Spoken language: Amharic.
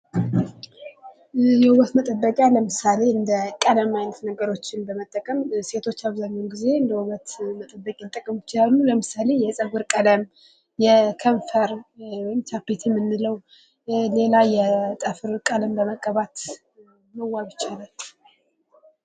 የዉበት መጠበቂያ ለምሳሌ እንደ ቀለም አይነት ነገሮችን በመጠቀም ሴቶች አብዛኛውን ጊዜ እንደ ዉበት መጠበቂያ ሊጠቀሙ ይችላሉ ለምሳሌ የፀጉር ቀለም የከንፈር ወይም ቻፕስቲክ የምንለው ሌላ የጥፍር ቀለም በመቀባት መዋብ ይቻላል::